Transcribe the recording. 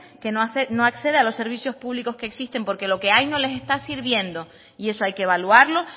que no accede a los servicios públicos que existen porque lo que hay no les está sirviendo y eso hay que evaluarlo